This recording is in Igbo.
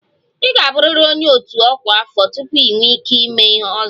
Ị ga-abụrịrị onye otu ọkwa afọ tupu ị nwee ike ịme 'ozo'